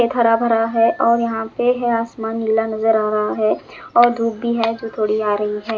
खेत हरा भरा है और यहाँ पे आसमान नीला नज़र आ रहा है और धूप भी है जो थोड़ी आ रही है।